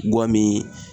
Guwan mi